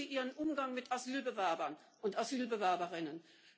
Überprüfen Sie Ihren Umgang mit Asylbewerbern und Asylbewerberinnen!